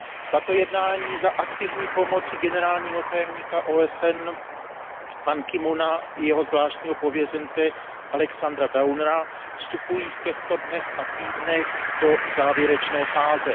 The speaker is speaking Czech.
Tato jednání probíhající za aktivní pomoci generálního tajemníka OSN Ban Ki moona a jeho zvláštního pověřence Alexandera Downera vstupují v těchto dnech a týdnech do závěrečné fáze.